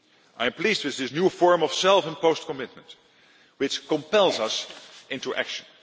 I am pleased with this new form of self imposed commitment, which compels us into action.